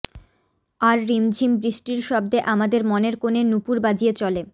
আর রিমঝিম বৃষ্টির শব্দে আমাদের মনের কোণে নূপুর বাজিয়ে চলে